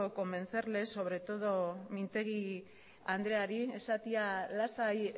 convencerles sobre todo mintegui andreari esatea lasai